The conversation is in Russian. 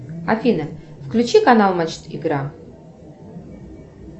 афина включи канал матч игра